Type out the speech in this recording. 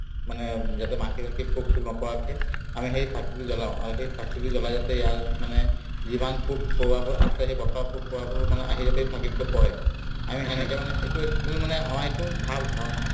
মানে উম যাতে মাখি-চাখি পোক-চোক নপৰাকে আমি সেই চাকিটো জ্বলাওঁ আৰু সেই চাকিটো জ্বলাই যাতে ইয়াৰ মানে যিমান পোক-পৰুৱাবোৰ আছে সেই পথাৰত পোক-পৰুৱাবোৰ মানে আহি যাতে সেই চাকিটোতে পৰে আমি সেনেকে মানে এইটো actually মানে আমাৰ এইটো ভাৱ-ধাৰণাহে